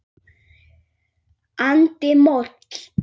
andi moll.